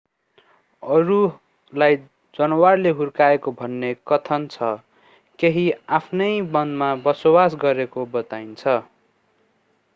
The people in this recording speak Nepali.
अरूलाई जनावरले हुर्काएको भन्ने कथन छ केही आफैं वनमा बसोबास गरेको बताइन्छ